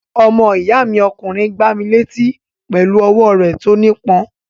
Ọmọ ìyá mi ọkùnrin gbá mi létí pẹ̀lú ọwọ́ rẹ̀ tó nípọn.